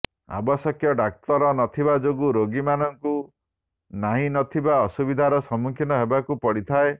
ଆବଶ୍ୟକ ଡାକ୍ତର ନଥିବା ଯୋଗୁ ଗୋଗୀମାନଙ୍କୁ ନାହିଁ ନ ଥିବା ଅସୁବିଧାର ସମ୍ମୁଖୀନ ହେବାକୁ ପଡ଼ିଥାଏ